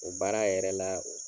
O baara yɛrɛ la